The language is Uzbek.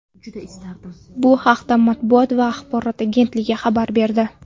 Bu haqda matbuot va axborot agentligi xabar berdi .